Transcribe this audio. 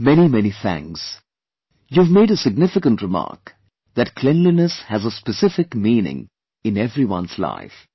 Many many thanks, you've made a significant remark that cleanliness has a specific meaning in every one's life